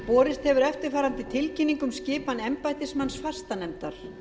borist hefur eftirfarandi tilkynning um skipan embættismanns fastanefndar